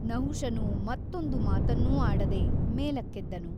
ನಹುಷನು ಮತ್ತೊಂದು ಮಾತನ್ನೂ ಆಡದೆ ಮೇಲಕ್ಕೆದ್ದನು.